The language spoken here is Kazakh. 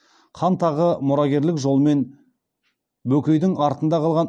хан тағы мұрагерлік жолмен бөкейдің артында қалған